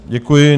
Děkuji.